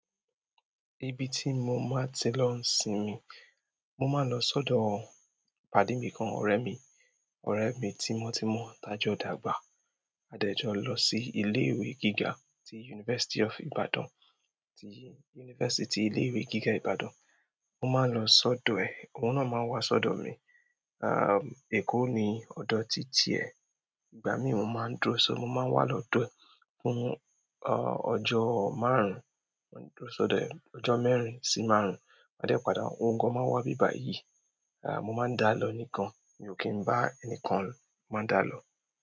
Ibi tí mo máa ti lọ n sinmi, mo máa ń lọ sọ́dọ̀ pàdí mi kan, ọ̀rẹ́ mi. Ọ̀rẹ́ mi tí mo ti mọ̀ tajọ́ dàgbà. A dẹ̀ jọ lọ sí ilé ìwé gíga ti University of Ibadan, ti University, ilé ìwé gíga Ibadan. Mo máa ń lọ sọ́dọ̀ ẹ̀. Òun náà máa ń wa sọ́dọ̀ mi. Èkó ni ọ̀dọ̀ títí ẹ̀. Ìgbà mí oun máa ń dúró si, mo máa ń wà lọ́dọ̀ fún ọjọ́ márùn-ún. Mo ń dúró sọ́dọ̀ ẹ̀ ọjọ́ mẹ́rin sí márùn-ún. A dẹ̀ padà. Ohun gan máa wá ibíbàyìí, mo máa ń dá lọ nì gan. Mi ò kí ń bá ẹnikán lo. Mo máa ń dá lọ.